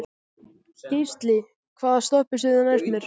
Geisli, hvaða stoppistöð er næst mér?